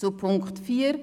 Zu Punkt 4